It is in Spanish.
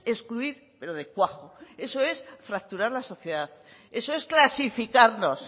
excluir pero de cuajo eso es fracturar la sociedad eso es clasificarnos